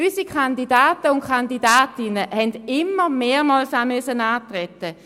Unsere Kandidaten und Kandidatinnen mussten immer mehrmals antreten.